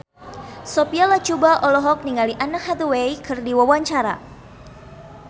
Sophia Latjuba olohok ningali Anne Hathaway keur diwawancara